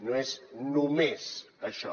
no és només això